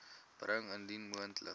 bring indien moontlik